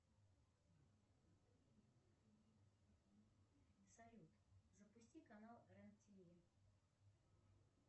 салют запусти канал рен тв